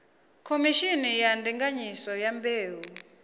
khomishini ya ndinganyiso ya mbeu